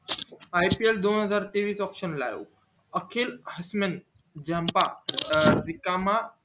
ipl दोन हजार तेवीस auction ला अखिल भारतीयन रिकामा